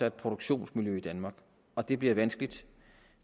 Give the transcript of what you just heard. et produktionsmiljø i danmark og det bliver vanskeligt